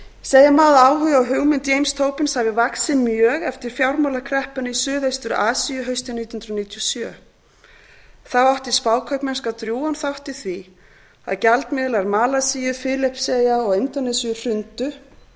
segja má að áhugi á hugmynd james tobins hafi vaxið mjög eftir fjármálakreppuna í suðaustur asíu haustið nítján hundruð níutíu og sjö þá átti spákaupmennska drjúgan þátt í því að gjaldmiðlar malasíu filippseyja og indónesíu hrundu